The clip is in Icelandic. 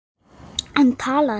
Hann talar ekki.